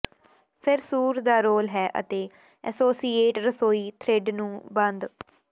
ਫਿਰ ਸੂਰ ਦਾ ਰੋਲ ਹੈ ਅਤੇ ਐਸੋਸੀਏਟ ਰਸੋਈ ਥਰਿੱਡ ਨੂੰ ਬੰਦ